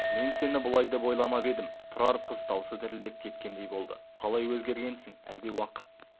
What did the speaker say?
мен сені бұлай деп ойламап едім тұрар қыз даусы дірілдеп кеткендей болды қалай өзгергенсің әлде уақыт